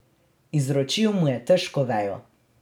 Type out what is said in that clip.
Izročil mu je težko vejo.